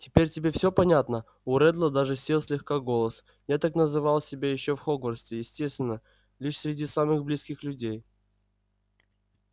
теперь тебе всё понятно у реддла даже сел слегка голос я так называл себя ещё в хогвартсе естественно лишь среди самых близких людей